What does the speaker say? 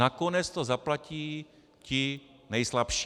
Nakonec to zaplatí ti nejslabší.